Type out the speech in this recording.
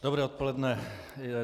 Dobré odpoledne.